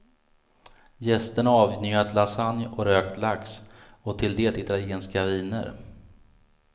Gästerna avnjöt lasagne och rökt lax och till det italienska viner.